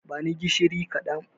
Bani gishiri kaɗan